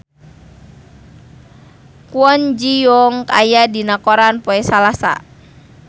Kwon Ji Yong aya dina koran poe Salasa